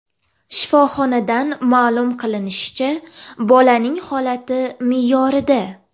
Shifoxonadan ma’lum qilinishicha, bolaning holati me’yorida.